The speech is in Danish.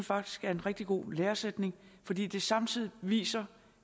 faktisk er en rigtig god læresætning fordi det samtidig viser